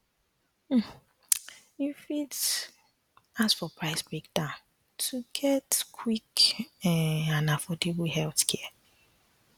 um you um fit ask for price breakdown to get quick um and affordable healthcare